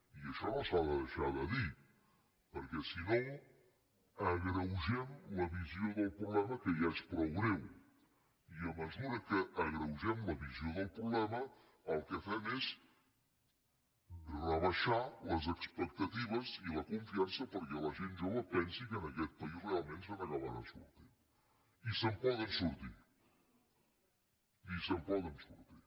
i això no s’ha de deixar de dir perquè si no agreugem la visió del problema que ja és prou greu i a mesura que agreugem la visió del problema el que fem és rebaixar les expectatives i la confiança perquè la gent jove pensi que en aquest país realment se n’acabarà sortint i se’n poden sortir i se’n poden sortir